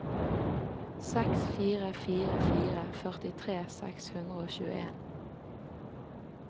seks fire fire fire førtitre seks hundre og tjueen